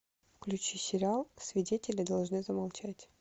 включи сериал свидетели должны замолчать